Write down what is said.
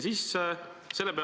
See on süsteemi sisse ehitatud.